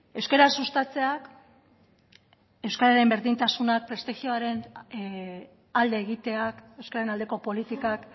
euskara sustatzeak euskararen berdintasunak prestigioaren alde egiteak euskararen aldeko politikak